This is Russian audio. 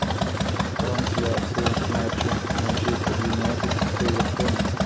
трансляция матча манчестер юнайтед с эвертоном